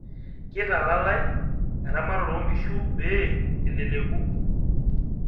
kitalalae eramatare oo inkishu pee eleleku